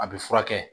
A bɛ furakɛ